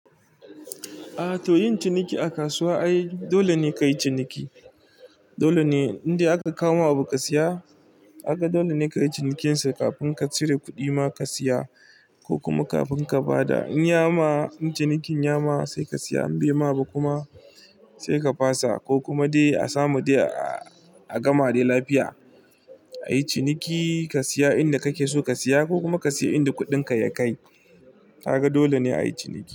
A to yin ciniki a kasuwa ai dole ne ka yi ciniki. Dole ne indai aka kawo ma abu ka siya aka, dole ne ka yi cinikinsa kafin ka cire kuɗi ma ka siya ko kuma kafin ka ba da in ya ma cinikin ya ma sai ka siya in bai ma ba kuma sai ka fasa ko kuma dai a samu dai a gama dai lafiya. Ai ciniki ka siya inda kake so ka siya ko kuma ka siya inda kuɗinka ya kai. Kaga dole ne a yi ciniki.